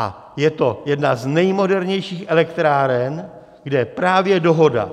A je to jedna z nejmodernějších elektráren, kde právě dohoda